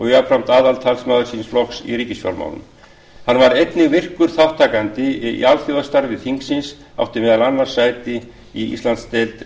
jafnframt aðaltalsmaður síns flokks í ríkisfjármálum hann var einnig virkur þátttakandi í alþjóðastarfi þingsins átti meðal annars sæti í íslandsdeild